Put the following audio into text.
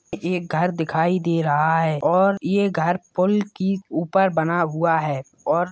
ये घर दिखाई दे रहा है और ये घर पुल के ऊपर बना हुआ है और--